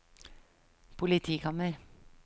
politikammer